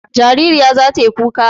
Jaririya za ta yi kuka.